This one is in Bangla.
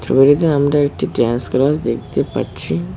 ছবিটিতে আমরা একটি ডান্স ক্লাস দেখতে পাচ্ছি।